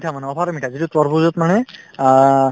মিঠা মানে over মিঠা যিটো তৰমুজত মানে আ